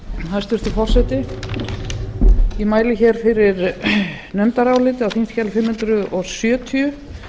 hæstvirtur forseti ég mæli hér fyrir nefndaráliti á þingskjali fimm hundruð sjötíu